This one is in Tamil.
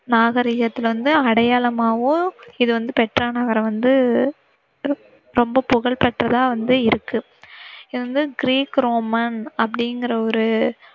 நாகரீகத்துல வந்து அடையாளமாகவும் இது வந்து பெட்ரா நகர் வந்து ரொம்ப புகழ் பெற்றதாக வந்து இருக்கு. இது வந்து கிரீக் ரோமன் அப்படிங்கற ஒரு